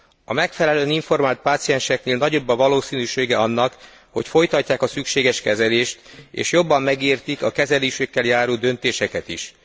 A megfelelően informált pácienseknél nagyobb a valószínűsége annak, hogy folytatják a szükséges kezelést és jobban megértik a kezelésükkel járó döntéseket is.